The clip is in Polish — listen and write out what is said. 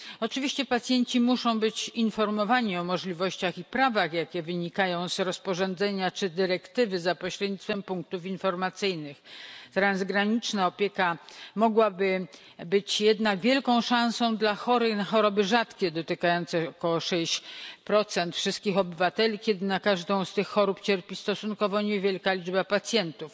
Oczywiście pacjenci muszą być informowani o możliwościach i prawach, jakie wynikają z rozporządzenia czy dyrektywy, za pośrednictwem punktów informacyjnych. Transgraniczna opieka mogłaby być jednak wielką szansą dla chorych na choroby rzadkie, dotykające około 6 wszystkich obywateli, w sytuacji gdy na każdą z tych chorób cierpi stosunkowo niewielka liczba pacjentów.